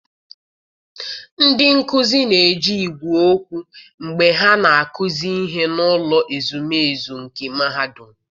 ndị nkuzi na-eji igwe okwu mgbe ha na-akụzi ihe n'ụlọ ezumezu nke Mahadum.